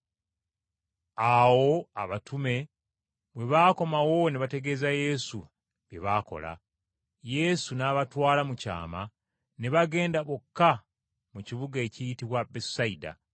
Awo abatume bwe baakomawo ne bategeeza Yesu bye baakola. Yesu n’abatwala mu kyama ne bagenda bokka mu kibuga ekiyitibwa Besusayida.